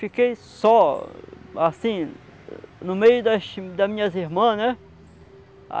Fiquei só, assim, no meio das das minhas irmãs, né?